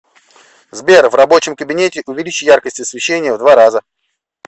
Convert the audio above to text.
сбер в рабочем кабинете увеличь яркость освещения в два раза